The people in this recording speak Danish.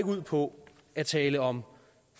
ud på at tale om